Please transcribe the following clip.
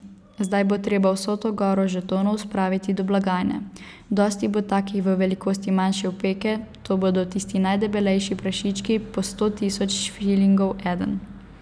Zdaj bo treba vso to goro žetonov spravit do blagajne, dosti bo takih v velikosti manjše opeke, to bodo tisti najdebelejši prašički, po sto tisoč šilingov eden.